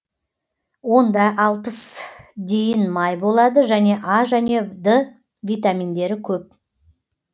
онда алпыс дейін май болады және а және д витаминдері көп